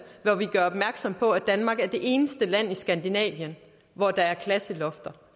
hvor vi gør opmærksom på at danmark er det eneste land i skandinavien hvor der er klasselofter